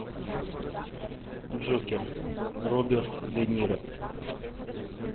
джокер роберт де ниро